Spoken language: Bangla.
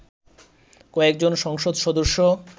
কয়েকজন সংসদ সদস্য